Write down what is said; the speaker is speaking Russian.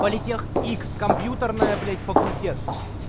политех икс компьютерная блядь факультет